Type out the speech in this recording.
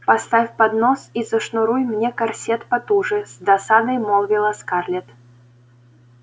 поставь поднос и зашнуруй мне корсет потуже с досадой молвила скарлетт